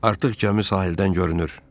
Artıq gəmi sahildən görünür.